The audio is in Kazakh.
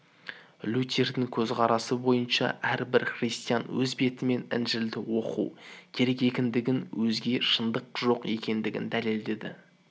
лютердің көзқарасы бойынша әрбір христиан өз бетімен інжілді оқу керек екендігін өзге шындық жоқ екендігін дәлелдеді